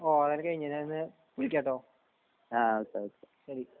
ഓഹ് അത് കയിഞ്ഞില്ലേ അതിന്ന് വിളിക്കാ ട്ടോ ശരി ശരി